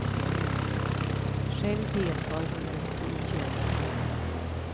Själv deltar hon inte i könshandeln.